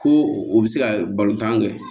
Ko o bɛ se ka balontan kɛ